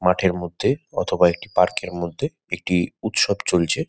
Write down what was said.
মাঠের মধ্যে অথবা একটি পার্ক -এর মধ্যে একটি উৎসব চলছে।